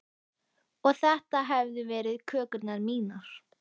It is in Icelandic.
Og þetta hefðu verið kökurnar mínar.